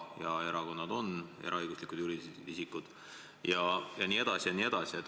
Ja erakonnad on eraõiguslikud juriidilised isikud.